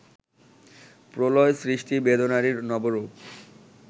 প্রলয় সৃষ্টি বেদনারই নবরূপ